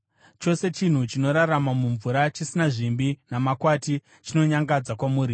Chose chinhu chinorarama mumvura chisina zvimbi namakwati chinonyangadza kwamuri.